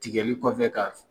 Tigɛli kɔfɛ ka